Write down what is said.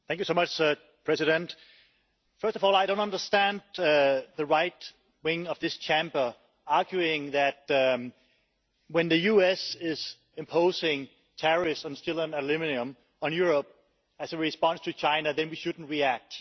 Mr President, first of all I don't understand the right wing of this Chamber arguing that when the US is imposing tariffs on steel and aluminium on Europe as a response to China, then we shouldn't react.